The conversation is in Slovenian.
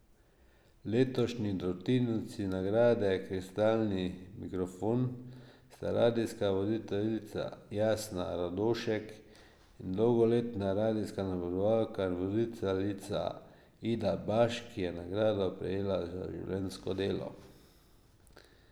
Letošnji dobitnici nagrade kristalni mikrofon sta radijska voditeljica Jasna Rodošek in dolgoletna radijska napovedovalka in voditeljica Ida Baš, ki je nagrado prejela za življenjsko delo.